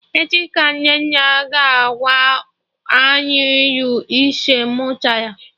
Echi ka Nnenne ga-agwa anyị ilu ise ọ mụtara